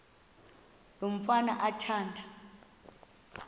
lo mfana athanda